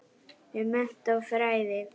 um mennt og fræði